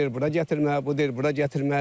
O deyir bura gətirmə, bu deyir bura gətirmə.